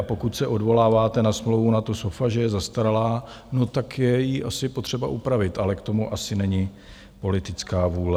A pokud se odvoláváte na smlouvu NATO SOFA, že je zastaralá, no tak je ji asi potřeba upravit, ale k tomu asi není politická vůle.